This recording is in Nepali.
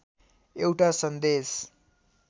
एउटा सन्देश